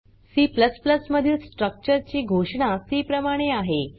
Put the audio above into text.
C मधील structure ची घोषणा सी प्रमाणे आहे